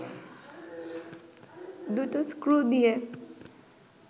দুটো স্ক্রু দিয়ে